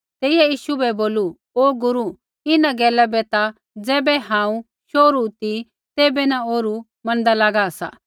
तेइयै यीशु बै बोलू ओ गुरू इन्हां गैला बै ता ज़ैबै हांऊँ शोहरू ती तैबै न ओरु मैनदा लागा सा